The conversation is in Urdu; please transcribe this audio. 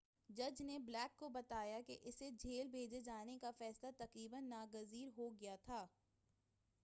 جج نے بلیک کو بتایا کہ اسے جیل بھیجے جانے کا فیصلہ تقریباً ناگزیر ہو گیا تھا